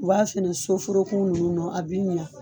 U b'a fɛnɛ soforokun ninnu na a b'i ɲɛ.